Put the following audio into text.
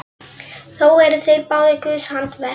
Þó eru þeir báðir guðs handaverk.